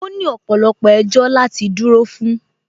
Ó ní ọ̀pọ̀lọpọ̀ ẹjọ́ láti dúró fún